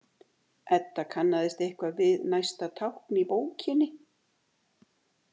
Edda kannaðist eitthvað við næsta tákn í bókinni.